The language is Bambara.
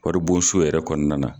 Wari bon so yɛrɛ kɔnɔna na.